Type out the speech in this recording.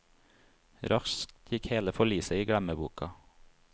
Raskt gikk hele forliset i glemmeboka.